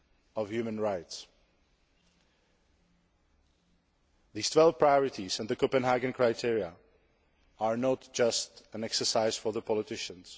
of human rights. These 12 priorities and the Copenhagen criteria are not just an exercise for politicians.